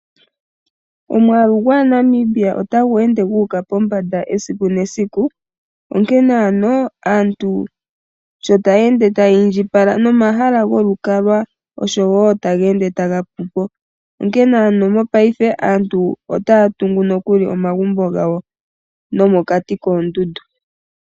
Omwaalu gwaaNamibia otagu ende gu uka pombanda esiku nesiku. Onkene ano aantu sho taya ende taya indjipala nomahala golukalwa oshowo otaga ende taga pu po. Onkene ano mongashingeyi aantu otaya tungu nokuli omagumbo gawo nomokati koondundu.